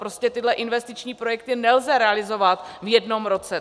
Prostě tyhle investiční projekty nelze realizovat v jednom roce.